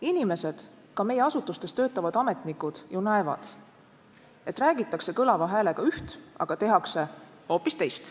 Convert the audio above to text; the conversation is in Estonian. Inimesed – ka meie asutustes töötavad ametnikud – ju näevad, et räägitakse kõlava häälega üht, aga tehakse hoopis teist.